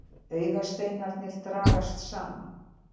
Augasteinarnir dragast saman.